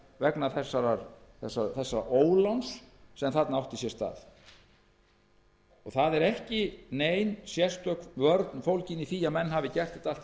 vegna þessa óláns sem þarna átti sér stað ekki er nein sérstök vörn fólgin í því að menn hafi gert þetta allt í